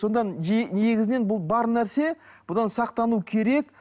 сонда негізінен бұл бар нәрсе бұдан сақтану керек